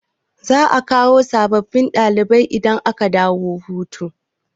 Za'a kawo sabbin dalibai idan aka dawo hutu.